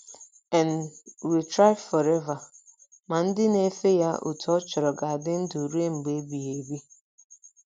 and, will thrive forever! Ma ndị na - efe ya otú ọ chọrọ ga - adị ndụ ruo mgbe ebighị ebi.